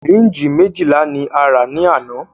Sìrínjì méjìlá ní a rà ní àná.